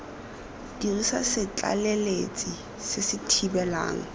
dirisa setlaleletsi se se thibelang